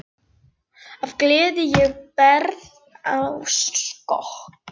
Af gleði ég bregð á skokk.